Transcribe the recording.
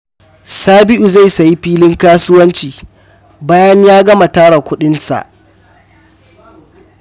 Sabiu zai sayi filin kasuwanci bayan ya gama tara kuɗinsa.